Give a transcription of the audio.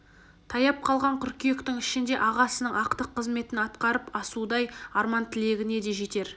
таяп қалған қыркүйектің ішінде ағасының ақтық қызметін атқарып асудай арман-тілегіне де жетер